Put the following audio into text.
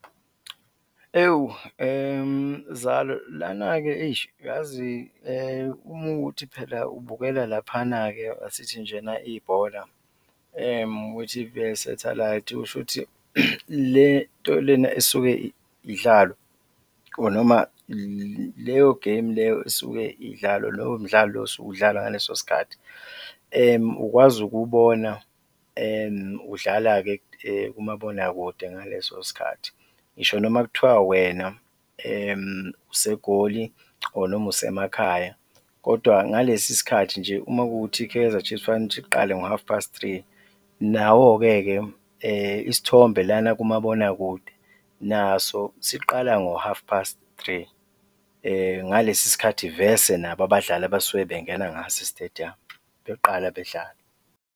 Ewu, zalo, lana-ke eish, uyazi uma kuwukuthi phela ubukela laphana-ke asithi njena ibhola kwi-T_V yesathalayithi, kushuthi le nto lena esuke idlalwa or noma leyo-game leyo esuke idlalwa, lowo mdlalo lo osuke udlala ngaleso sikhathi ukwazi ukuwubona udlala-ke kumabonakude ngaleso sikhathi. Ngisho noma kuthiwa wena useGoli or noma usemakhaya kodwa ngalesi sikhathi nje, uma kuwukuthi i-Kaizer Chiefs fanele ukuthi iqale ngo-half past three, nawo-ke-ke isithombe lana kumabonakude naso siqala ngo-half past three, ngalesi sikhathi vese nabo abadlali abasuke bengena ngaso e-stadium beqala bedlala.